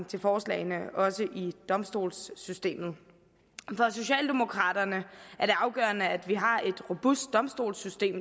til forslaget også i domstolssystemet for socialdemokraterne er det afgørende at vi har et robust domstolssystem